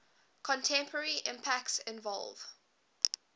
contemporary impacts involve